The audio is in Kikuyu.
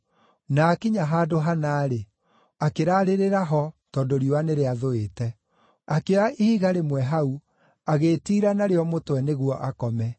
Na aakinya handũ hana-rĩ, akĩraarĩrĩra ho tondũ riũa nĩ rĩathũĩte. Akĩoya ihiga rĩmwe hau, agĩĩtiira narĩo mũtwe nĩguo akome.